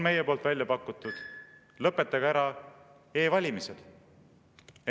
Meie oleme välja pakkunud: lõpetage ära e‑valimised.